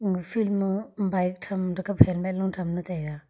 ga field ma bike tham takap phan phonla nula tham taga.